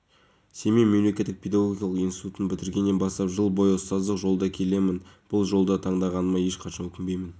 еуразиялық топ құрамындағы қазақстан алюминийі қызметкерлері шалғай ауыл мен қала мектептерінде білім алатын көп балалы және тұрмысы төмен отбасылардың балаларын мектепке